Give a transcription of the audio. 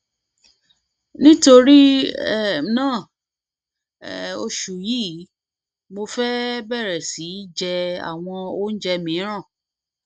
nítorí um náà oṣù yìí mo fẹ fẹ bẹrẹ sí í jẹ àwọn oúnjẹ mìíràn